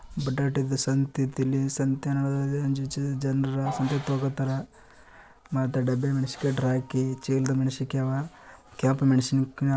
ಬಟಾಟಿತಿ ಸಂತ್ ಐತಿ ಇಲ್ಲೀ. ಸಂತೆನಾದ್ರೂ ಒಂದು ಚೂರು ಜನ್ರ ಸಂತೆಗ್ ಹೋಗೋ ತರ ಮತ್ತ ಡಬ್ಬಾಗ ಮೆಣಸಿನ್ಕಾಯಿ ಹಾಕಿ ಚೀಲದಾಗ್ ಮೆಣಸಿನ್ಕಾಯ್ ಆವಾ ಕೆಂಪ್ ಮೆಣಸಿನ್ಕಾಯ್--